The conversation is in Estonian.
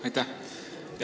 Aitäh!